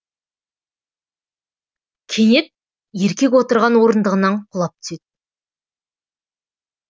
кенет еркек отырған орындығынанқұлап түседі